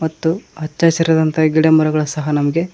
ತ್ತು ಹಚ್ಚಹಸಿರಾದಂತ ಗಿಡಮರಗಳು ಸಹ ನಮ್ಗೆ.